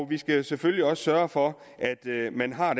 vi skal selvfølgelig også sørge for at man har